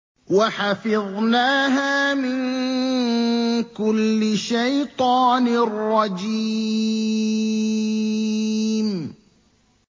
وَحَفِظْنَاهَا مِن كُلِّ شَيْطَانٍ رَّجِيمٍ